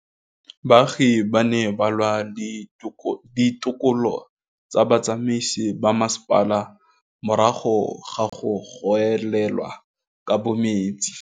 Baagi ba ne ba lwa le ditokolo tsa botsamaisi ba mmasepala morago ga go gaolelwa kabo metsi.